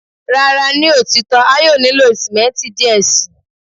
Rara, ni otitọ a yoo nilo simenti diẹ sii